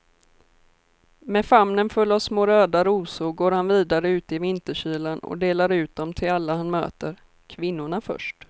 Med famnen full av små röda rosor går han vidare ut i vinterkylan och delar ut dem till alla han möter, kvinnorna först.